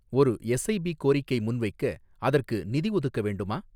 ஒரு எஸ்ஐபி கோரிக்கை முன்வைக்க அதற்கு நிதி ஒதுக்க வேண்டுமா?